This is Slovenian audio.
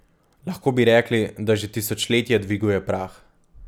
Lahko bi rekli, da že tisočletja dviguje prah.